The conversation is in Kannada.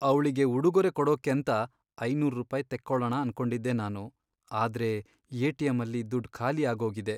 ಅವ್ಳಿಗೆ ಉಡುಗೊರೆ ಕೊಡೋಕ್ಕೇಂತ ಐನೂರ್ ರೂಪಾಯಿ ತೆಕ್ಕೊಳಣ ಅನ್ಕೊಂಡಿದ್ದೆ ನಾನು, ಆದ್ರೆ ಎಟಿಮ್ ಅಲ್ಲಿ ದುಡ್ಡ್ ಖಾಲಿ ಆಗೋಗಿದೆ.